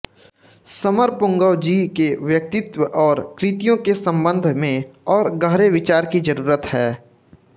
समरपुंगव जी के व्यक्तित्व और कृतियों के सम्बन्ध में और गहरे विचार की ज़रूरत है